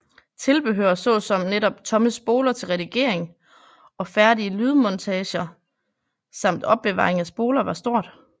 Tilbehør såsom netop tomme spoler til redigering og færdige lydmontager samt opbevaring af spoler var stort